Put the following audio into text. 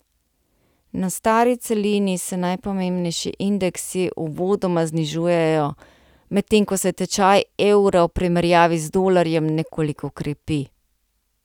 Na stari celini se najpomembnejši indeksi uvodoma znižujejo, medtem ko se tečaj evra v primerjavi z dolarjem nekoliko krepi.